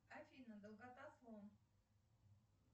афина долгота слон